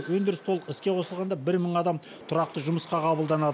өндіріс толық іске қосылғанда бір мың адам тұрақты жұмысқа қабылданады